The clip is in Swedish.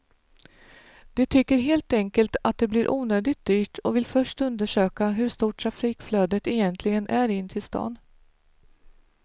De tycker helt enkelt att det blir onödigt dyrt och vill först undersöka hur stort trafikflödet egentligen är in till stan.